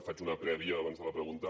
faig una prèvia abans de la pregunta